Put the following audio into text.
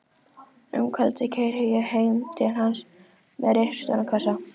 Um kvöldið keyri ég heim til hans með risastóran kassa.